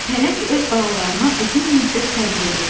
Pələng öz balalarına uzun müddət tərbiyə verir.